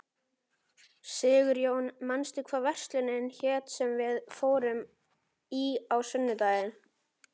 Sigurjón, manstu hvað verslunin hét sem við fórum í á sunnudaginn?